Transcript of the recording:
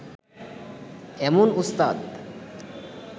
এমন ওস্তাদ